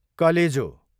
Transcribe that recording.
कलेजो